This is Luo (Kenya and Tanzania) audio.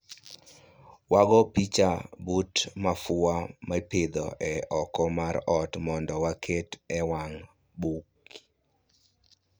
Wago picha but mafua mopidhi e oko mar ot mondo waket e wang' buk